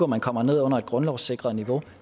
man kommer ned under et grundlovssikret niveau